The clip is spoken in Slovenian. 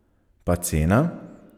Pa cena?